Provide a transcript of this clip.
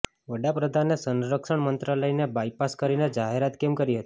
વડાપ્રધાને સંરક્ષણ મંત્રાલયને બાયપાસ કરીને જાહેરાત કેમ કરી હતી